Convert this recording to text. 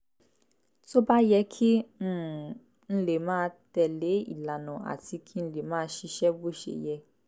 tó bá yẹ kí um n lè máa tẹ̀ lé ìlànà àti kí n lè máa ṣiṣẹ́ bó ṣe yẹ